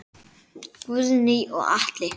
Guðný og Atli.